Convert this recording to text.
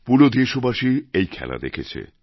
পুরো দেশবাসী এই খেলা দেখেছে